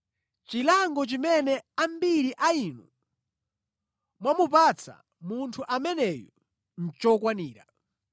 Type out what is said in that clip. Chilango chimene ambiri a inu mwamupatsa munthu ameneyu nʼchokwanira.